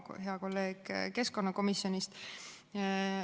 Hea Timo, kolleeg keskkonnakomisjonist!